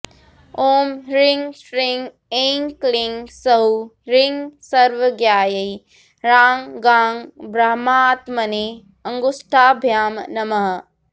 ॐ ह्रीं श्रीं ऐं क्लीं सौः ह्रीं सर्वज्ञायै ह्रां गां ब्रह्मात्मने अङ्गुष्ठाभ्यां नमः